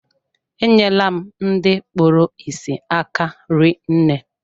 E nyere la m ndị kpụrụ isi aka rinne.